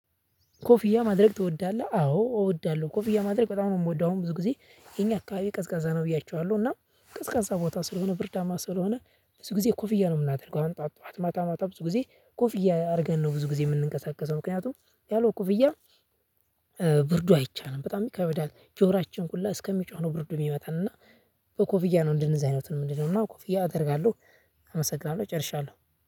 ኮፍያ ማድረግ ትወዳለህ? አዎ እወዳለሁ ኮፍያ ማድረግ በጣም ነው የምወደው። አሁን ብዙ ጊዜ የኛ አካባቢ ቀዝቃዛ ነው ብያችኋለሁ። እና ቀዝቃዛ ቦታ ስለሆነ ብርዳማ ስለሆነ ብዙ ጊዜ ኮፍያ ነው የምናደርገው። አሁን ጥዋት ጥዋት ማታ ማታ ብዙ ጊዜ ኮፍያ አድርገን ነው ብዙ ጊዜ የምንቀሳቀሰው። ምክንያቱም ያለው ኮፍያ። ብርዱ አይቻልም በጣም ይከበዳል ጆሮአችን ሁላ እስከሚጮህ ነው። ብርዱ የሚመታን እና። ኮፍያ ነው እንደነዚህ አይነቱን ምንድነው? እና ኮፍያ አደርጋለሁ። አመሰግናለሁ ጨርሻለሁ።